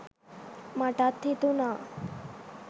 මටත් හිතුණා